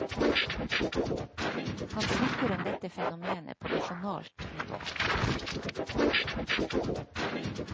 Han snakker om dette fenomenet på nasjonalt nivå.